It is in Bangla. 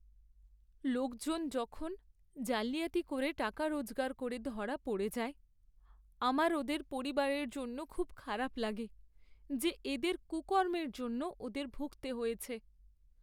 লোকজন যখন জালিয়াতি করে টাকা রোজগার করে ধরা পড়ে যায়, আমার ওদের পরিবারের জন্য খুব খারাপ লাগে, যে এদের কুকর্মের জন্য ওদের ভুগতে হয়েছে।